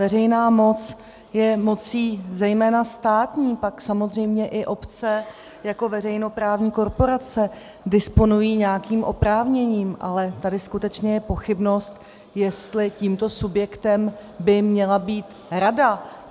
Veřejná moc je mocí zejména státní, pak samozřejmě i obce jako veřejnoprávní korporace disponují nějakým oprávněním, ale tady skutečně je pochybnost, jestli tímto subjektem by měla být rada.